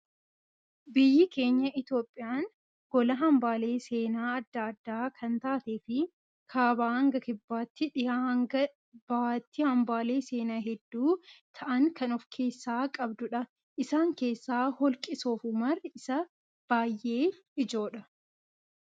Biyyi keenya Itoophiyaan gola hambaalee seenaa addaa addaa kan taatee fi kaabaa hanga kibbaatti, dhihaa hanga bahatti hambaalee seenaa hedduu ta'an kan of keessaa qabdudha. Isaan keessaa holqi soofumar isa baayyee ijoodha.